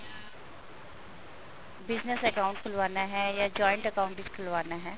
business account ਖੁਲਵਾਉਣਾ ਹੈ ਜਾਂ joint account ਵਿੱਚ ਖੁਲਵਾਉਣਾ ਹੈ